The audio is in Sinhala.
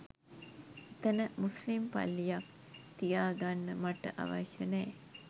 එතන මුස්ලිම් පල්ලියක් තියාගන්න මට අවශ්‍ය නෑ